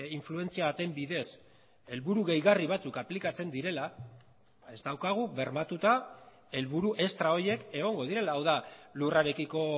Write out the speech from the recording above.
influentzia baten bidez helburu gehigarri batzuk aplikatzen direla ez daukagu bermatuta helburu extra horiek egongo direla hau da lurrarekiko